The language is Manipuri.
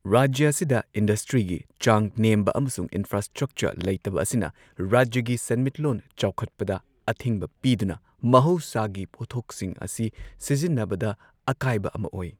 ꯔꯥꯖ꯭ꯌ ꯑꯁꯤꯗ ꯏꯟꯗꯁꯇ꯭ꯔꯤꯒꯤ ꯆꯥꯡ ꯅꯦꯝꯕ ꯑꯃꯁꯨꯡ ꯏꯟꯐ꯭ꯔꯥꯁ꯭ꯇ꯭ꯔꯛꯆꯔ ꯂꯩꯇꯕ ꯑꯁꯤꯅ ꯔꯥꯖ꯭ꯌꯒꯤ ꯁꯦꯟꯃꯤꯠꯂꯣꯟ ꯆꯥꯎꯈꯠꯄꯗ ꯑꯊꯤꯡꯕ ꯄꯤꯗꯨꯅ ꯃꯍꯧꯁꯥꯒꯤ ꯄꯣꯠꯊꯣꯛꯁꯤꯡ ꯑꯁꯤ ꯁꯤꯖꯤꯟꯅꯕꯗ ꯑꯀꯥꯏꯕ ꯑꯃ ꯑꯣꯏ꯫